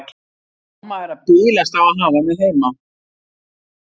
Mamma er að bilast á að hafa mig heima.